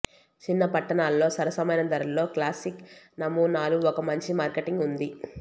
చిన్న పట్టణాలలో సరసమైన ధరలలో క్లాసిక్ నమూనాలు ఒక మంచి మార్కెటింగ్ ఉంది